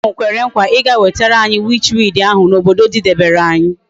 Nwoke ahu kwere nkwa I ga wetere anyi witch weed na ahu obodo didebere anyi nso